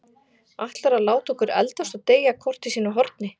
Ætlarðu að láta okkur eldast og deyja hvort í sínu horni?